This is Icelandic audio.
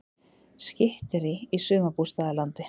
Skytterí í sumarbústaðalandi